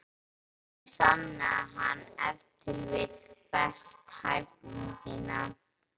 Þannig sannaði hann ef til vill best hæfni sína.